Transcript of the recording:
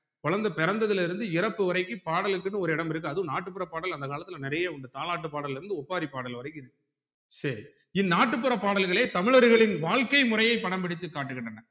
குழந்தை பிறந்ததுல இருந்து இறப்பு வரைக்கும் பாடலுக்கு ஒரு இடம் இருக்கு அதுவும் நாட்டு புற பாடல் அந்த காலத்துல நெறைய உண்டு தாலாட்டு பாடல்ல இருந்து ஒப்பாரி பாடல் வர்க்கும் இருக்கு சரி இந்நாட்டு புற பாடல்களே தமிழர்களின் வாழ்க்கை முறையை படம் பிடித்து காட்டுகின்றன